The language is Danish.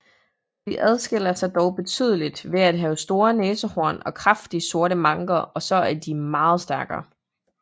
De adskiller sig dog betydeligt ved at have store næsehorn og kraftige sorte manker og så er de meget stærkere